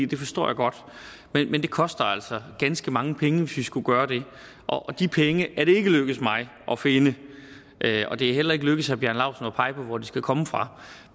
det forstår jeg godt men det koster altså ganske mange penge hvis vi skulle gøre det og de penge er det ikke lykkedes mig at finde og det er heller ikke lykkedes herre bjarne laustsen at pege på hvor de skal komme fra